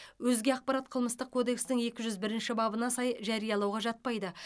өзге ақпарат қылмыстық кодекстің екі жүз бірінші бабына сай жариялауға жатпайды